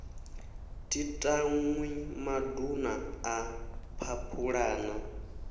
thi tanwi maduna a phaphulana